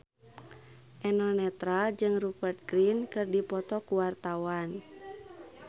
Eno Netral jeung Rupert Grin keur dipoto ku wartawan